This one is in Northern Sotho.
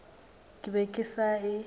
ke be ke sa e